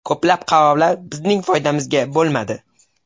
Ko‘plab qarorlar bizning foydamizga bo‘lmadi.